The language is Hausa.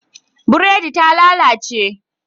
Buredi ta lalace